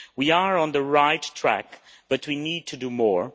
We are on the right track but we need to do more.